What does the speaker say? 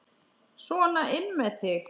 Sona inn með þig!